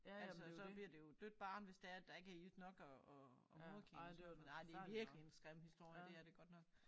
Altså så bliver det jo dødt barn hvis det er at der ikke er ilt nok og og og moderkagen og sådan noget men ej det virkelig en grim historie det er det godt nok